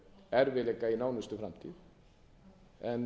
erfiðleika í nánustu framtíð en